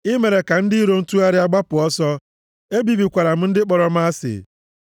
I mere ka ndị iro m tụgharịa gbapụ ọsọ. Ebibikwara m ndị kpọrọ m asị.